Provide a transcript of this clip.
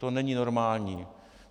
To není normální.